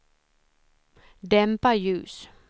dämpa ljus